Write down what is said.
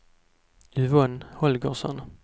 Yvonne Holgersson